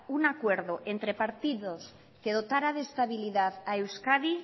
un acuerdo entre partidos que dotara de estabilidad a euskadi